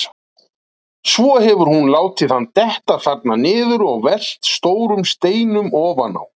Svo hefur hún látið hann detta þarna niður og velt stórum steinum ofan á.